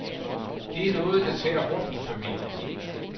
Det er noget, der tærer hårdt på familien.